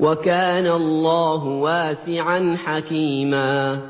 وَكَانَ اللَّهُ وَاسِعًا حَكِيمًا